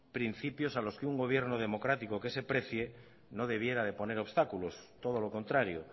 principios a los que un gobierno democrático que se precie no debiera poner obstáculos todo lo contrario